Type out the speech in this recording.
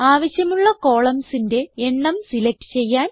ആവശ്യമുള്ള columnsന്റെ എണ്ണം സിലക്റ്റ് ചെയ്യാൻ